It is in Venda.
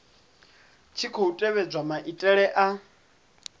tshi khou tevhedzwa maitele a